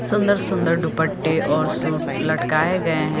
सुंदर सुंदर दुपट्टे और सूट लटकाए गए हैं।